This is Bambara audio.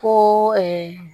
Ko